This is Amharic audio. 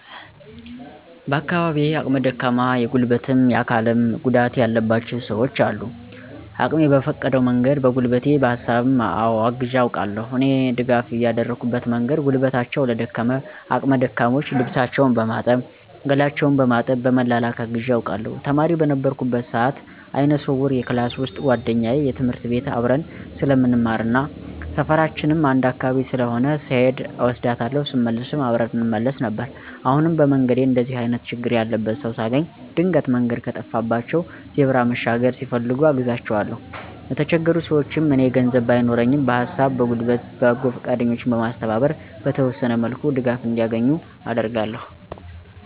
በአካባቢየ አቅመ ደካማ የጉልበትም የአካልም ጉዳትም ያለባቸው ሰውች አሉ። አቅሜ በፈቀደው መንገድ በጉልበቴ በሀሳብም አወ አግዤ አውቃለሁ። እኔ ድጋፍ ያደረኩበት መንገድ ጉልበታቸው ለደከመ አቅመ ደካሞች ልብሳቸውን በማጠብ ገላቸውን በማጠብ በመላላክ አግዤ አውቃለሁ። ተማሪ በነበርኩበት ሰአት አይነ ስውር የክላስ ውሰጥ ጉዋደኛየ ትምህርት ቤት አብረን ስለምንማርና ሰፈራችንም አንድ አካባቢ ስለሆነ ስሔድ እወስዳታለሁ ስመለስም አብረን እንመለስ ነበር። አሁንም በመንገዴ እንደዚህ አይነት ችግር ያለበት ሰው ሳገኝ ድንገት መንገድ ከጠፋባቸው ዜብራ መሻገር ሲፈልጉ አግዛቸዋለሁኝ። የተቸገሩ ሰውችንም እኔ ገንዘብ ባይኖረኝም በሀሳብ በጉልበት በጎ ፈቃደኞችን በማስተባበር በተወሰነ መልኩ ድጋፍ እንዲያገኙ አደርጋለሁ።